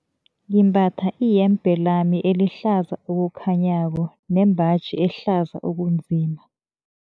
Ngimbatha iyembe lami elihlaza okukhanyako nembaji ehlaza okunzima.